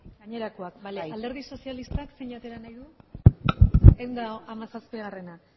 gainerakoak bale alderdi sozialistak zein atera nahi du ehun eta hamazazpia bale